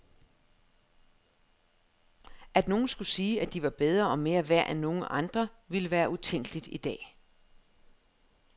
At nogen skulle sige, at de var bedre og mere værd end nogen andre ville være utænkeligt i dag.